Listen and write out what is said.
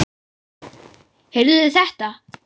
Heyrðuð þið þetta?